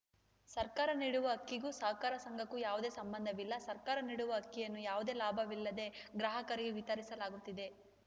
ಸರ್ಕಾರ ನೀಡುವ ಅಕ್ಕಿಗೂ ಸಹಕಾರ ಸಂಘಕ್ಕೂ ಯಾವುದೇ ಸಂಬಂಧವಿಲ್ಲ ಸರ್ಕಾರ ನೀಡುವ ಅಕ್ಕಿಯನ್ನು ಯಾವುದೇ ಲಾಭ ವಿಲ್ಲದೇ ಗ್ರಾಹಕರಿಗೆ ವಿತರಿಸಲಾಗುತ್ತಿದೆ